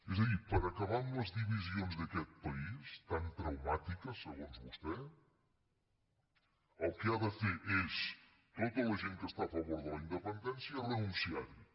és a dir per acabar amb les divisions d’aquest país tan traumàtiques segons vostè el que ha de fer és tota la gent que està a favor de la independència renunciarhi